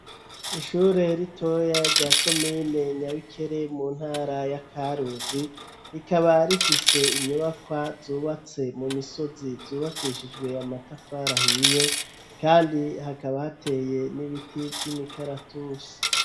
Ishure ritoyi rya komine Nyabikere mu ntara ya Karuzi, rikaba rifise inyubakwa zubatse mu misozi zubakishijwe amatafari ahiye, kandi hakaba hateye n'ibiti vy'imikaratusi.